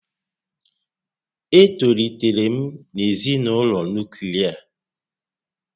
E tolitere m na ezinaụlọ nuklia